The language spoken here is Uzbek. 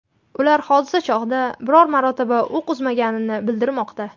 Ular hodisa chog‘ida biror marotaba o‘q uzmagani bildirilmoqda.